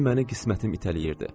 məni qismətim itələyirdi.